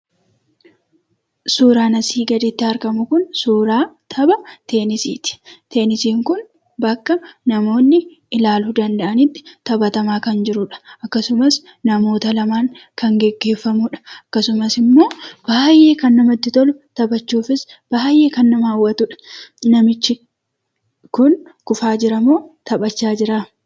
Suuraan asii gaditti argamu kun suuraa tapha teenisiiti. Teenisiin kun bakka namoonni ilaaluu danda'anitti taphatamaa kan jirudha. Akkasumas namoota lamaan kan geggeeffamuudha. Akkasumas ammoo, baay'ee kan namatti tolu; taphachuufis baay'ee kan nama hawwatudha. Namichi kufaa jiramoo taphachaa jira?